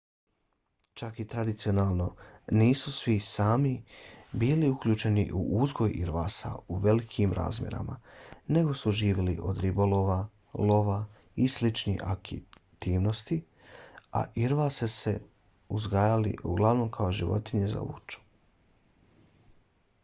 čak i tradicionalno nisu svi sámi bili uključeni u uzgoj irvasa u velikim razmjerima nego su živjeli od ribolova lova i sličnih aktivnosti a irvase su uzgajali uglavnom kao životinje za vuču